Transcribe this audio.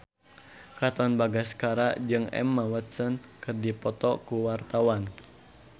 Katon Bagaskara jeung Emma Watson keur dipoto ku wartawan